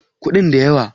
kudin da yawa